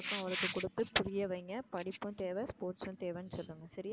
அவளுக்கு கொடுத்து புரிய வைங்க படிப்பும் தேவ sports ம் தேவைன்னு சொல்லுங்க சரியா?